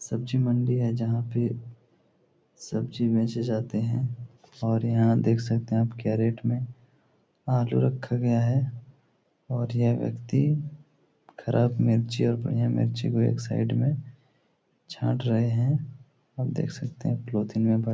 सब्जी मंडी है जहाँ पे सब्जी बेचे जाते हैं और यहाँ देख सकते हैं आप क्या रेट में आलू रखा गया है और यह व्यक्ति ख़राब मिर्ची और बढ़िया मिर्ची को एक साइड में छांट रहे हैं और देख सकते हैं पॉलीथिन में भर --